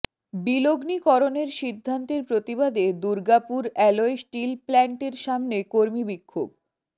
বিলগ্নিকরণের সিদ্ধান্তের প্রতিবাদে Durgapur alloy steel প্ল্যান্টের সামনে কর্মীবিক্ষোভ